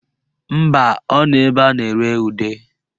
Mba, ọ nọ ebe a na-ere ude